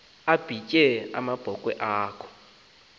abhitye abe lunwabu